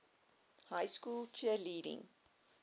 high school cheerleading